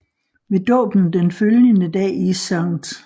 Ved dåben den følgende dag i St